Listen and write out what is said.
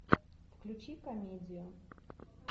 включи комедию